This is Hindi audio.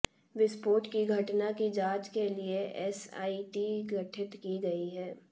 विस्फोट की घटना की जांच के लिए एसआईटी गठित की गई है